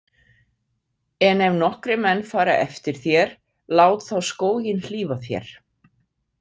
En ef nokkrir menn fara eftir þér, lát þá skóginn hlífa þér.